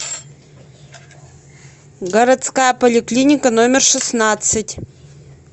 городская поликлиника номер шестнадцать